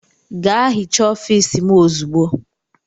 Gaa hichaa ofiisi m ozugbo!